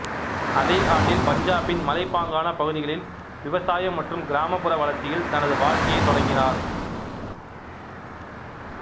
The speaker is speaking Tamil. அதே ஆண்டில் பஞ்சாபின் மலைப்பாங்கான பகுதிகளில் விவசாயம் மற்றும் கிராமப்புற வளர்ச்சியில் தனது வாழ்க்கையைத் தொடங்கினார்